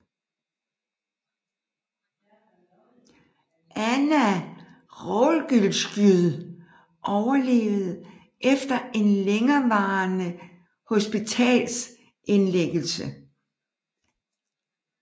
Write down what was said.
Anna Rogulskyj overlevede efter en længerevarende hospitalsindlæggelse